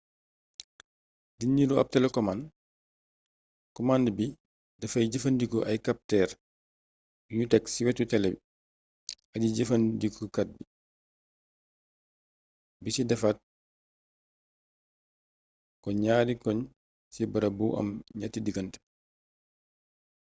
di nirook ab telekomànd komand bi dafay jëfandikoo ay kaptër yuñu tek ci wetu tele aji-jëfandikukat bi ci defal ko ñatti koñ ci barab bu am ñetti digante